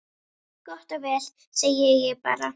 Gott og vel, segi ég bara.